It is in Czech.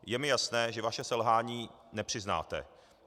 Je mi jasné, že vaše selhání nepřiznáte.